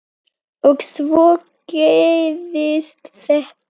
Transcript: Og svo gerist þetta.